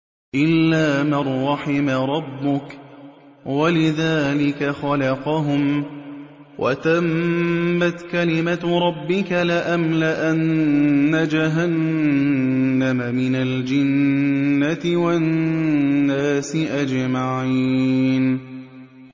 إِلَّا مَن رَّحِمَ رَبُّكَ ۚ وَلِذَٰلِكَ خَلَقَهُمْ ۗ وَتَمَّتْ كَلِمَةُ رَبِّكَ لَأَمْلَأَنَّ جَهَنَّمَ مِنَ الْجِنَّةِ وَالنَّاسِ أَجْمَعِينَ